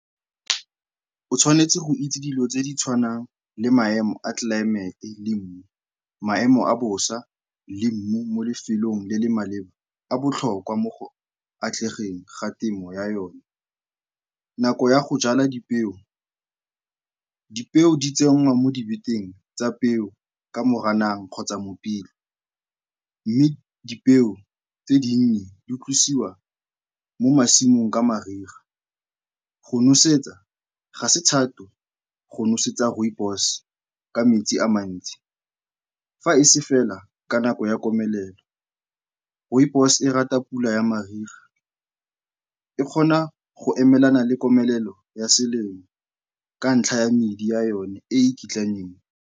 O tshwanetse go itse dilo tse di tshwanang le maemo a tlelaemete le mmu. Maemo a bosa le mmu mo lefelong le le maleba a botlhokwa mo go atlegeng ga temo ya yone. Nako ya go jala dipeo, dipeo di tsenngwa mo tsa peo ka Moranang kgotsa Mopitlwe mme dipeo tse dinnye di tlosiwa mo masimong ka mariga. Go nosetsa ga se thata go nosetsa rooibos ka metsi a mantsi fa e se fela ka nako ya komelelo. Rooibos e rata pula ya mariga, e kgona go emelana le komelelo ya selemo ka ntlha ya medi ya yone e e kitlaneng.